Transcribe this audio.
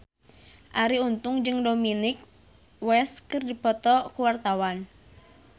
Arie Untung jeung Dominic West keur dipoto ku wartawan